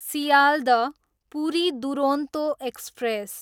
Sealdah, Puri Duronto express